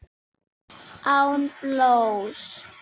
Án blóðs.